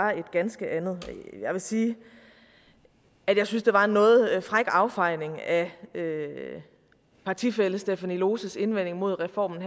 var et ganske andet jeg vil sige at jeg synes det var en noget fræk affejning af partifællen stephanie loses indvending mod reformen